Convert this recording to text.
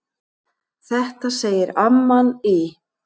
Þetta segir amman í